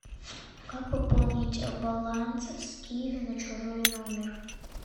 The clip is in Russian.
как пополнить баланс с киви на чужой номер